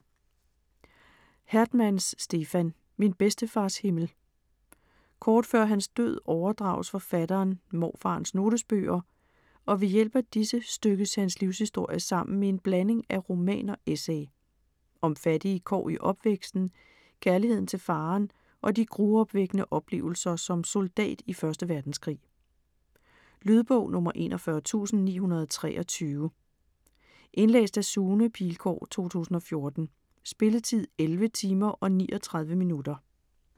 Hertmans, Stefan: Min bedstefars himmel Kort før hans død overdrages forfatteren morfarens notesbøger, og ved hjælp af disse stykkes hans livshistorie sammen i en blanding af roman og essay. Om fattige kår i opvæksten, kærligheden til faderen og de gruopvækkende oplevelser som soldat i 1. verdenskrig. Lydbog 41923 Indlæst af Sune Pilgaard, 2014. Spilletid: 11 timer, 39 minutter.